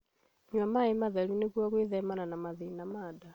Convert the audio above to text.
Nyua maĩ matheru nĩguo gwĩthemana na mĩrimũ ya nda